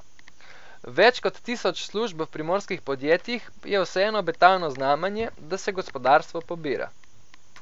Več kot tisoč služb v primorskih podjetjih je vseeno obetavno znamenje, da se gospodarstvo pobira.